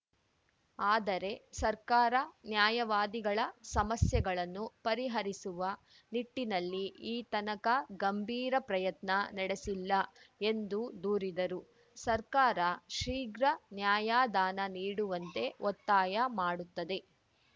ಆದರೆ ಸರ್ಕಾರ ನ್ಯಾಯವಾದಿಗಳ ಸಮಸ್ಯೆಗಳನ್ನು ಪರಿಹರಿಸುವ ನಿಟ್ಟಿನಲ್ಲಿ ಈತನಕ ಗಂಭೀರ ಪ್ರಯತ್ನ ನಡೆಸಿಲ್ಲ ಎಂದು ದೂರಿದರು ಸರ್ಕಾರ ಶೀಘ್ರ ನ್ಯಾಯಾದಾನ ನೀಡುವಂತೆ ಒತ್ತಾಯ ಮಾಡುತ್ತದೆ